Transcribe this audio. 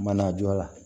Mana jɔ a la